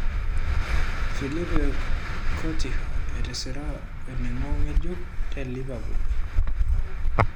Philippe Countinho etisira oningo ngejuk te Liverpool.